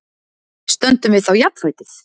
Stöndum við þá jafnfætis?